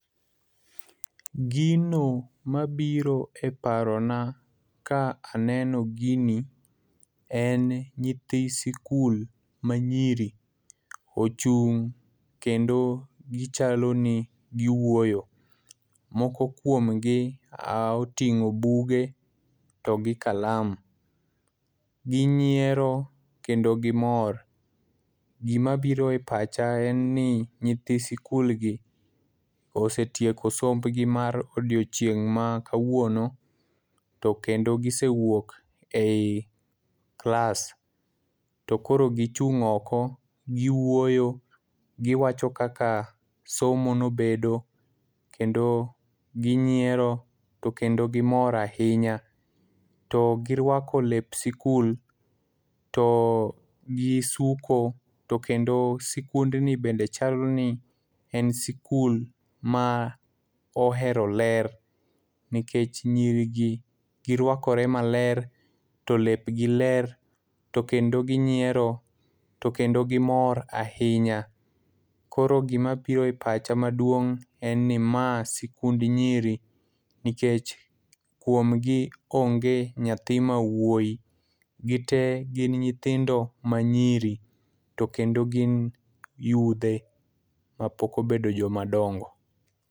Gino mabiro e paro na ka aneno gini en nyithi sikul manyiri ochung' kendo gichalo ni giwuoyo. Moko kuomgi, oting'o buge to gi kalam. Ginyiero kendo gimor. Gima biro e pacha en eni nyithi sikul gi osetieko somb gi mar odechieng' ma kawuono, to kendo gisewuok ei klas, to koro gichung' oko, giwuoyo, giwacho kaka somo ne obedo to kendo ginyiero to kendo gimor ahinya. To girwako lep sikul, to gisuko, to kendo sikundni bende chal ni en sikul ma ohero ler. Nikech nyiri gi girwakore maler, to lep gi ler, to kendo ginyiero, to kendo gimor ahinya. Koro gima biro e pacha maduong', en ni ma sikund nyiri, nikech kuomgi onge nyathi mawuoyi, gite gin nyithindo manyiri, to kendo gi yudhe, ma mopok obedo joma dongo.